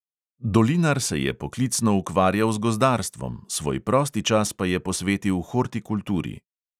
Dolinar se je poklicno ukvarjal z gozdarstvom, svoj prosti čas pa je posvetil hortikulturi.